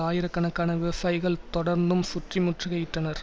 ஆயிரக்கணக்கான விவசாயிகள் தொடர்ந்தும் சுற்றி முற்றுகையிட்டனர்